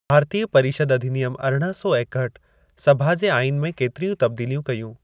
भारतीय परिषद अधिनियम अरिड़हं सौ एकहठि, सभा जे आईन में केतिरियूं तब्दीलीयूं कयूं।